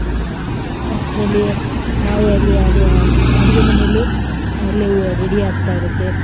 ಅಷ್ಟ್ರಲ್ಲಿ ನಾವು ಅಲ್ಲಿ ಅಡುಗೆ ಮನೆಯಲ್ಲಿ ಆಗ್ಲೇ ready ಆಗ್ತಾ ಇರುತ್ತೆ.